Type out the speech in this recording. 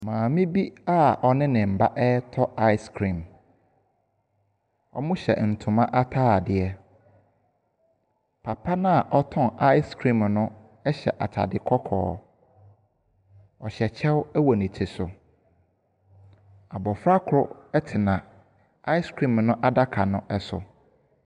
Maame bi a ɔne ne ba retɔ Icecream. Wɔhyɛ ntoma atadeɛ. Papa no a ɔtɔn Icecream no hyɛ atade kɔkɔɔ. Ɔhyɛ kyɛw wɔ ne ti so. Abɔfra koro tena Icecream no adaka no so.